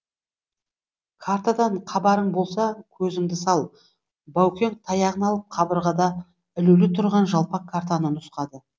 картадан хабарың болса көзіңді сал баукең таяғын алып қабырғада ілулі тұрған жалпақ картаны нұсқады